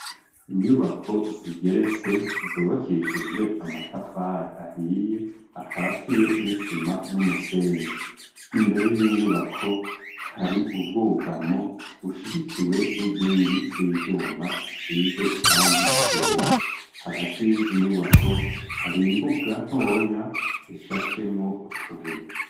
Inyubako zigeretse zubakishije amatafari ahiye akatiye n'isima n'umusenyi. Imbere y'inyubako hari ubwugamo bushigikiwe n'inkingi z'ivyuma zisize irangi ryera. Hagati y'izo nyubako hari imbuga ntoya ishashemwo utubuye.